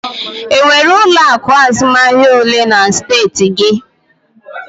E nwere ụlọ akụ azụmahịa olee na steeti gị?